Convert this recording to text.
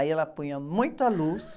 Aí ela punha muita luz,